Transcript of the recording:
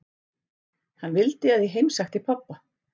Hann vildi að ég heimsækti pabba.